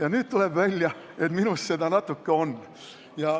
Aga nüüd tuleb välja, et minus seda natuke on.